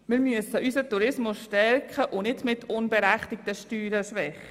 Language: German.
Wir müssen unseren Tourismus stärken und nicht mit unberechtigten Steuern schwächen.